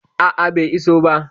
A a, bai iso ba.